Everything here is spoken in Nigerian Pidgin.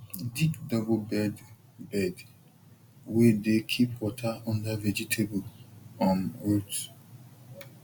dig double bed bed wey dey keep water under vegetable um root